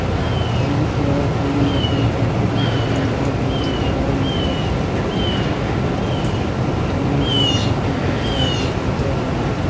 ਉਹ ਸ਼ਰਾਬ ਦੇ ਨਸ਼ੇ ਵਿਚ ਉਸ ਦੀ ਕਮਜ਼ੋਰੀ ਦਾ ਮਜ਼ਾਕ ਉਡਾ ਰਹੇ ਸਨ। ਆਹ ਔਰੰਗਜ਼ੇਬ ਗੁੱਸੇ ਵਿਚ ਆ ਕੇ ਕਹਿੰਦਾ ਹੈ